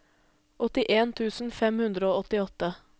åttien tusen fem hundre og åttiåtte